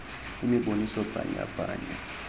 imiboniso bhanya bhanya